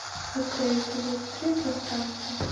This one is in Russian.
открой эпизод три пространство